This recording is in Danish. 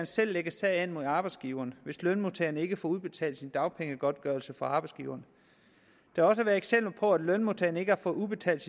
selv lægge sag an mod arbejdsgiveren hvis lønmodtageren ikke får udbetalt sin dagpengegodtgørelse fra arbejdsgiveren der har været eksempler på at lønmodtagerne ikke har fået udbetalt